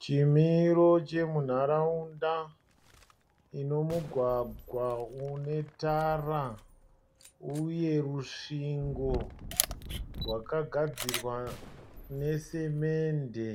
Chimiro chemunharaunda inemugwagwa unetara uye rusvingo rwakagadzirwa nesemende.